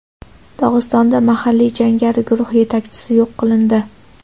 Dog‘istonda mahalliy jangari guruh yetakchisi yo‘q qilindi.